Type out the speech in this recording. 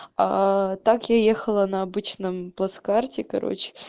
так я ехала на обычном плацкарте короче